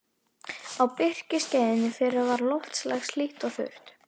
Á birkiskeiðinu fyrra var loftslag hlýtt og þurrt.